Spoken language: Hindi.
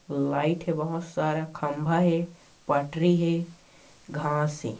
लाइट है बहुत सारा खंबा है पटरी है घास है।